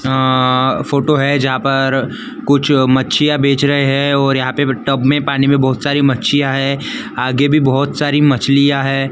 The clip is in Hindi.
हां फोटो है जहां पर कुछ मच्छियां बेच रहे हैं और यहां पे टब में पानी में बहुत सारी मच्छियां हैं आगे भी बहुत सारी मछलियां हैं।